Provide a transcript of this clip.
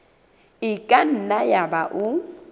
e ka nna yaba o